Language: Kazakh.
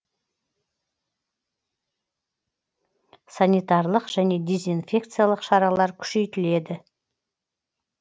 санитарлық және дезинфекциялық шаралар күшейтіледі